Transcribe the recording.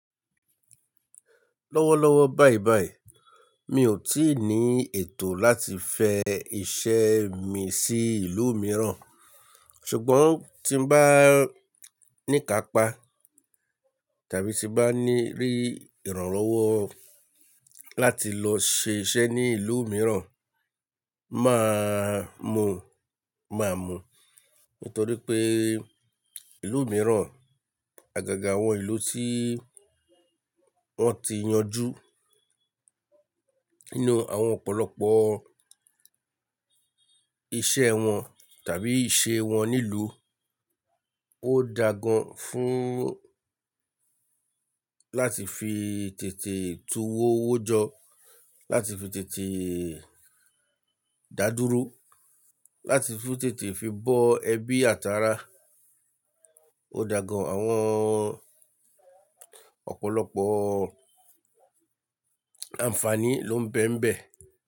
Lọ́wọ́lọ́wọ́ báibái, mi ò tíì ní ètò láti fẹ iṣẹ́ mi sí ìlú mìíràn, ṣùgbọ́n tí bá ní kápa tàbí tí bá ní rí ìrànlọ́wọ́ láti lọ ṣe iṣẹ́ ní ìlú mìíràn, màá mu, màá mu. Nítorí pé ìlú mìíràn, àgàgà àwọn ìlú tí wọ́n ti yanjú nínú àwọn ọ̀pọ̀lọpọ̀ iṣẹ́ wọn tàbí ìṣe wọn nílùú, ó da gan fún láti fi tètè tu owó wó jọ, láti fi tètè dá dúró, láti fi tètè fi bọ ẹbí, àtara. Ó da gan, àwọn ọ̀pọ̀lọpọ̀ àǹfààní ló ń bẹ ń bẹ.